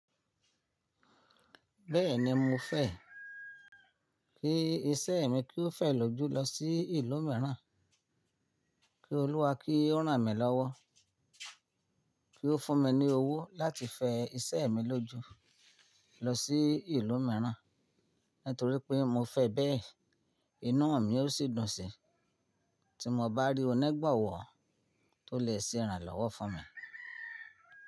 Bẹ́ẹ̀ni mo fẹ́ kí iṣẹ́ mi kí ó fẹ̀ lójú lọ sí ìlú mìíràn, kí Olúwa kí ó ràn mí lọ́wọ́, kí ó fún mi ní owó láti fẹ iṣẹ́ mi lójú lọ sí ìlú mìíràn, nítorí pé mo fẹ́ bẹ́ẹ̀, inú mi yóò sì dùn sí i tí mo bá rí onígbowọ̀ tó lè ṣe ìrànlọ́wọ́ fún mi.